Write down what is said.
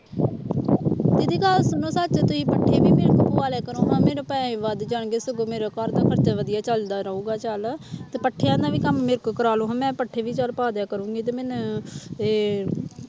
ਦੀਦੀ ਗੱਲ ਸੁਣੋ ਤੁਹਾਡੇ ਤੁਸੀਂ ਪੱਠੇ ਵੀ ਮੇਰੇ ਤੋਂ ਪਵਾ ਲਿਆ ਕਰੋ ਮੇਰੇ ਪੈਸੇ ਵੀ ਵੱਧ ਜਾਣਗੇ ਸਗੋਂ ਮੇਰਾ ਘਰਦਾ ਖ਼ਰਚਾ ਵਧੀਆ ਚੱਲਦਾ ਰਹੂਗਾ ਚੱਲ ਤੇ ਪੱਠਿਆਂ ਦਾ ਵੀ ਕੰਮ ਮੇਰੇ ਤੋਂ ਕਰਵਾ ਲਓ ਹੁਣ ਮੈਂ ਪੱਠੇ ਵੀ ਚੱਲ ਪਾ ਦਿਆ ਕਰੂੰਗੀ ਤੇ ਮੈਨੂੰ ਇਹ